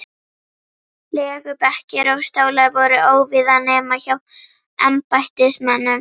Legubekkir og stólar voru óvíða nema hjá embættismönnum.